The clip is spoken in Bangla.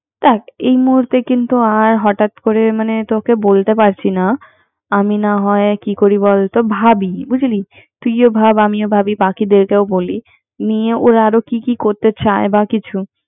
এই মুহূর্তে কিন্ত আর হঠাৎ মানে তোকে বলতে পারছিনা। আমি না হয় কি করি বলতো ভাবি বুজলি। তুই ও ভাব আমিও ভাবি। বাকিদের কোও বলি। নিয়ে ওরা আরো কি কি করতে চায়। বা কিছু